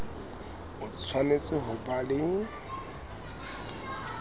o tshwanetse ho ba le